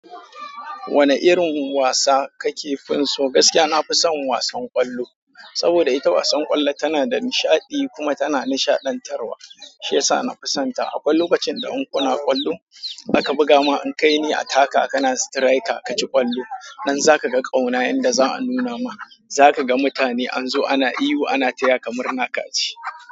Wane irin wasa kake fin si. Gaskiya nafison wasan kwallo, saboda ita wasan kwallo tana da nishadi kuma tana nishadantarwa shiyasa nafison ta. Akwai lokacin da inkuna kwallo aka buga ma an kai ni attacker ka na striker aka ci kwallo, nan zaka ga ƙauna yanda za a nuna ma, zaka ga mutane anzo ana ihu ana taya ka murna kaci.